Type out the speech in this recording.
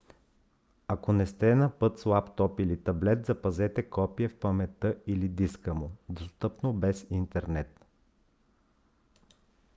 ако сте на път с лаптоп или таблет запазете копие в паметта или диска му достъпно без интернет